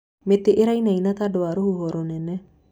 Mĩtĩ ĩrainaina tondũ wa rũhuho rũnene.